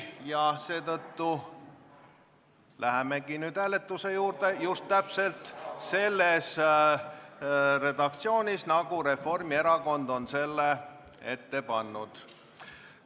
Ja seetõttu lähemegi nüüd hääletuse juurde ja just täpselt selles redaktsioonis, nagu Reformierakond on selle ette pannud.